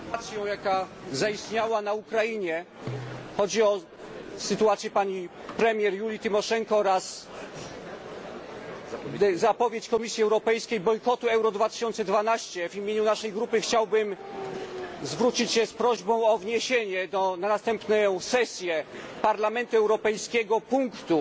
W związku z sytuacją, jaka zaistniała na Ukrainie chodzi o sytuację pani premier Julii Tymoszenko oraz zapowiedź Komisji Europejskiej bojkotu EURO 2012 w imieniu naszej grupy chciałbym zwrócić się z prośbą o wniesienie na następną sesję Parlamentu Europejskiego punktu